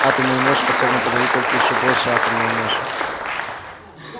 атомную мощь способна подавить только ещё большая атомная мощь